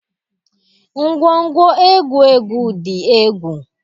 Ngwongwo egwu egwu di egwu